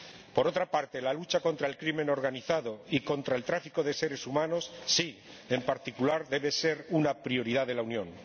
Por otra parte, la lucha contra el crimen organizado y contra el tráfico de seres humanos, sí, en particular, debe ser una prioridad de la Unión.